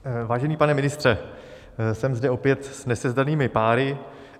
Vážený pane ministře, jsem zde opět s nesezdaným páry.